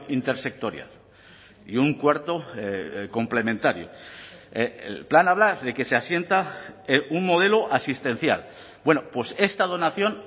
intersectorial y un cuarto complementario el plan habla de que se asienta un modelo asistencial bueno pues esta donación